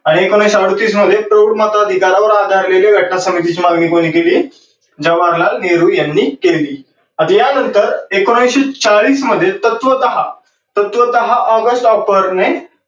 आणि एकोणविसशे अडोतीस मध्ये प्रौढ माताधीकारावर आधारलेली घटना समितीची मागणी कोणी केली? जवाहरलाल नेहरू यांनी केली. आणि या नंतर एकोणविसशे चाळीस मध्ये तत्त्वतः august offer ने